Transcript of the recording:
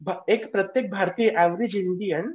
एक प्रत्येक भारतीय एवरेज इंडियन.